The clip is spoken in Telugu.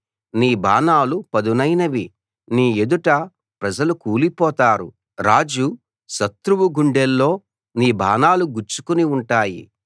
నీ బాణాలు పదునైనవి నీ ఎదుట ప్రజలు కూలిపోతారు రాజు శత్రువు గుండెల్లో నీ బాణాలు గుచ్చుకుని ఉంటాయి